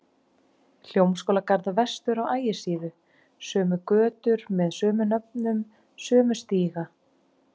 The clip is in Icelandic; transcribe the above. Hljómskálagarð vestur á Ægisíðu, sömu götur með sömu nöfnum, sömu stíga.